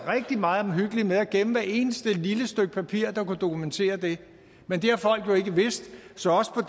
meget omhyggelige med at gemme hvert eneste lille stykke papir der kunne dokumentere det men det har folk jo ikke vidst så også på